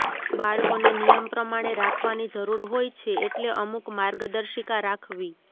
બાળકોને નિયમ પ્રમાણે રાખવાની જરૂર હોય છે એટલે અમુક માર્ગદર્શિકા રાખવી